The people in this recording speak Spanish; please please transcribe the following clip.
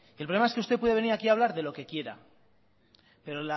el problema es que usted venir aquí a hablar de lo que quiera pero